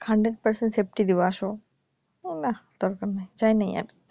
hundred percent safety দিব আসো নাহ দরকার নাই যাই নাই আর